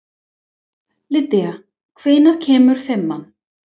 Lýdía, hvenær kemur fimman?